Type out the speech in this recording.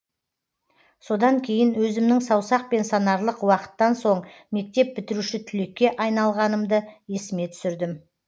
содан кейін өзімнің саусақпен санарлық уақыттан соң мектеп бітіруші түлекке айналғанымды есіме түсірдім